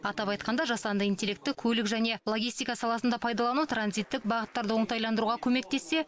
атап айтқанда жасанды интеллектті көлік және логистика саласында пайдалану транзиттік бағыттарды оңтайландыруға көмектессе